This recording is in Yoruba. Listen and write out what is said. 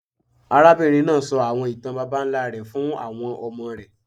Arábìnrin náà sọ àwọn ìtàn àwọn babańlá rẹ̀ fún àwọn ọmọ rẹ̀.